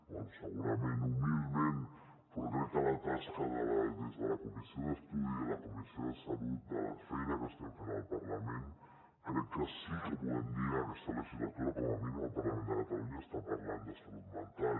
bé segurament humilment però crec que la tasca des de la comissió d’estudi de la comissió de salut de la feina que estem fent al parlament crec que sí que podem dir en aquesta legislatura que com a mínim el parlament de catalunya està parlant de salut mental